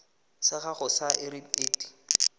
sa gago sa irp it